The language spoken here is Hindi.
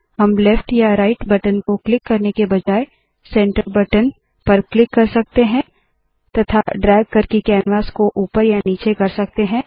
हम लेफ्ट या राइट बटन को क्लिक करने के बजाय सेंटर बटन सेंटर बटन पर क्लिक कर सकते है तथा ड्रैग करके कैनवास को ऊपर या नीचे कर सकते है